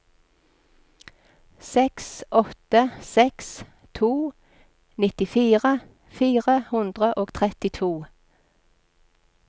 seks åtte seks to nittifire fire hundre og trettito